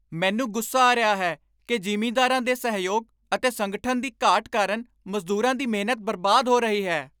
ਮੈਨੂੰ ਗੁੱਸਾ ਆ ਰਿਹਾ ਹੈ ਕਿ ਜ਼ਿਮੀਂਦਾਰਾਂ ਦੇ ਸਹਿਯੋਗ ਅਤੇ ਸੰਗਠਨ ਦੀ ਘਾਟ ਕਾਰਨ ਮਜ਼ਦੂਰਾਂ ਦੀ ਮਿਹਨਤ ਬਰਬਾਦ ਹੋ ਰਹੀ ਹੈ।